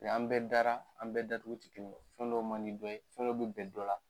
Mɛ an bɛɛ dara, an bɛɛ da cogo tɛ kelen ye, fɛn dɔ man di dɔ ye, fɛn dɔ bɛ bɛn dɔ la,